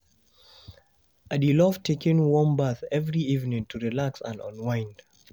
I dey love taking warm bath every evening to relax and unwind.